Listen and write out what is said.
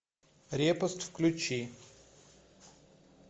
репост включи